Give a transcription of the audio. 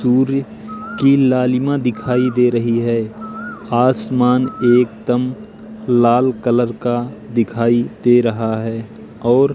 सूर्य की लालिमा दिखाई दे रही है आसमान एकदम लाल कलर का दिखाई दे रहा है और--